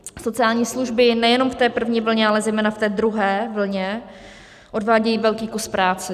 Sociální služby nejenom v té první vlně, ale zejména v té druhé vlně odvádějí velký kus práce.